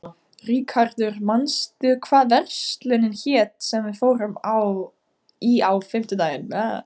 Ríkharður, manstu hvað verslunin hét sem við fórum í á fimmtudaginn?